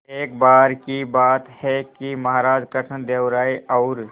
एक बार की बात है कि महाराज कृष्णदेव राय और